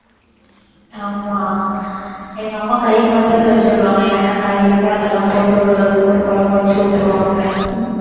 ஆமா எங்க அம்மா கைக்கு வந்ததை வச்சு விடுவாங்க. என்னென்ன காய் இருக்கோ அதெல்லாம் போட்டு ஒரு ஒரு குழம்பை வச்சு விட்டுருவாங்க